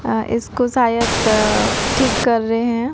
अह इसको सायद ठीक कर रहे हैं।